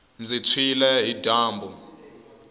ndzi tshwile hi dyambu